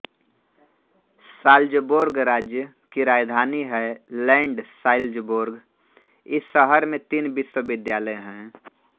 Salzburg राज्य की राजधानी है लैंड साल्ज़बोर्ग इस शहर में तीन विश्वविद्यालय हैं